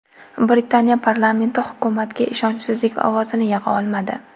Britaniya Parlamenti hukumatga ishonchsizlik ovozini yig‘a olmadi.